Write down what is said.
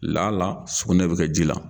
Laala sugunɛ bɛ kɛ ji la.